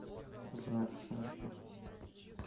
враг шарпа